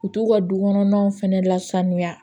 U t'u ka du kɔnɔnaw fɛnɛ lasaniya